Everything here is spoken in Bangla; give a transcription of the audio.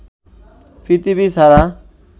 পৃথিবী ছাড়া